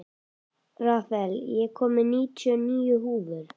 Rafael, ég kom með níutíu og níu húfur!